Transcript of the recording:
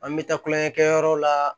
An bɛ taa kulonkɛ kɛ yɔrɔw la